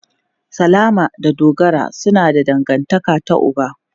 Salama da Dogara suna da dangantaka ta uba.